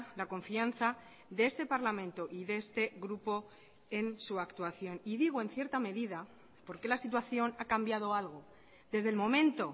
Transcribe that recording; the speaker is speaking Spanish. la confianza de este parlamento y de este grupo en su actuación y digo en cierta medida porque la situación ha cambiado algo desde el momento